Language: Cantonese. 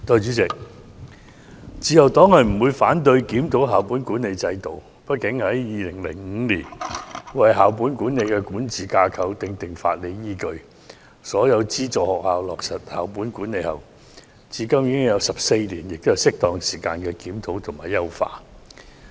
代理主席，自由黨不反對檢討校本管理制度，畢竟，自從2005年為校本管理的管治架構訂定法理依據，讓所有資助學校落實校本管理，至今已有14年，現在是適當時間進行檢討及優化。